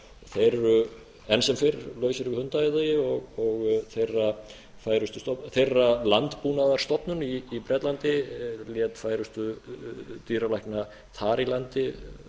eru enn sem fyrr lausir við hundaæði og þeirra landbúnaðarstofnun í bretlandi lét færustu dýralækna þar í landi